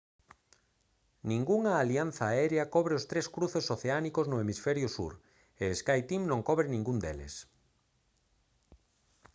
ningunha alianza aérea cobre os tres cruces oceánicos no hemisferio sur e skyteam non cobre ningún deles